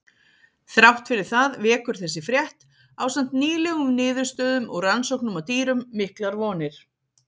Þrátt fyrir það vekur þessi frétt, ásamt nýlegum niðurstöðum úr rannsóknum á dýrum, miklar vonir.